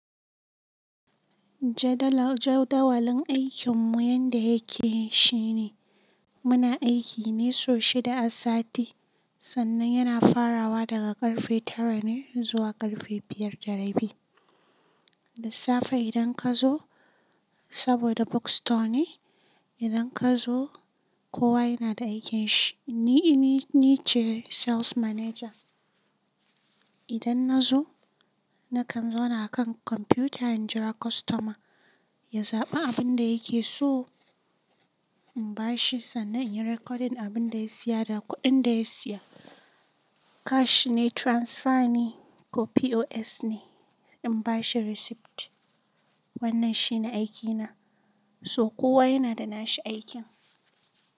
Jadawalin aikinmu yanda yake shine muna aiki ne sau shida a safe, sannan yana farawa daga ƙarfe tara ne zuwa ƙarfe biyar da rabi. Da safaeidan ka zo, saboda book store ne, idan ka zo kowa yana da aikin shi. Ni, ni ce sales manager. Idan na zo, na kan zauna a kan kwamfuta in jira kostoma ya zaɓi abin da yake so in bashi sannan in yi recording abin da ya siya da kuɗin da ya siya. Cash ne, transfer ne ko POS ne, in bashi receipt. Wannan shine aikina. So kowa yana da nashi aikin.